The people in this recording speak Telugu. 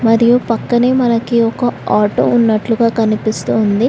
మరియు పక్కనే మనకి ఒక ఆటో ఉన్నట్లుగా కనిపిస్తోంది.